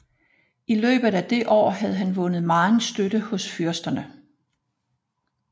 I løbet af det år havde han vundet megen støtte hos fyrsterne